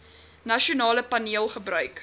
nasionale paneel gebruik